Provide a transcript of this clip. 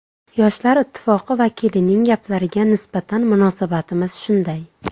Yoshlar ittifoqi vakilining gaplariga nisbatan munosabatimiz shunday.